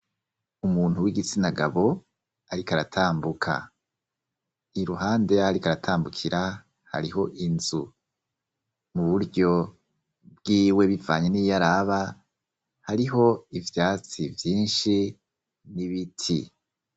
Umuntu w'igitsina gabo ariko aratambuka. Iruhande y'aho ariko aratambukira hariho inzu mu buryo bwiwe bivanye n'iyo araba hariho ivyatsi vyinshi n'ibiti.